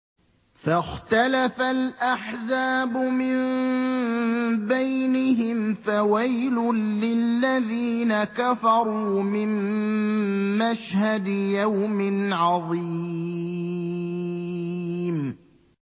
فَاخْتَلَفَ الْأَحْزَابُ مِن بَيْنِهِمْ ۖ فَوَيْلٌ لِّلَّذِينَ كَفَرُوا مِن مَّشْهَدِ يَوْمٍ عَظِيمٍ